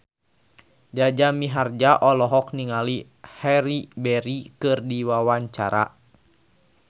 Jaja Mihardja olohok ningali Halle Berry keur diwawancara